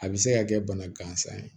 A bɛ se ka kɛ bana gansan ye